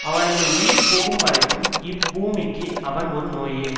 அவனது உயிர் போகும் வரைக்கும் இப்பூமிக்கு அவன் ஒரு நோயே